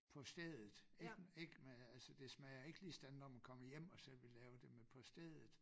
På stedet ik ik med altså det smager ikke lige sådan når man kommer hjem og selv vil lave det men på stedet